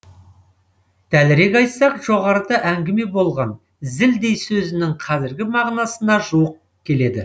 дәлірек айтсақ жоғарыда әңгіме болған зілдей сөзінің қазіргі мағынасына жуық келеді